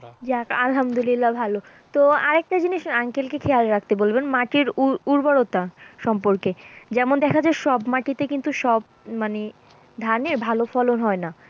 যাক আলহামদুল্লিয়া ভালো তো আর একটা জিনিস uncle কে খেয়াল রাখতে বলবেন মাটির উর্বরতা সম্পর্কে, যেমন দেখা যায় সব মাটিতে কিন্তু সব মানে ধানের ভালো ফলন হয় না।